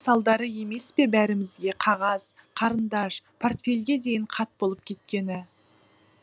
салдары емес пе бәрімізге қағаз қарындаш портфельге дейін қат болып кеткені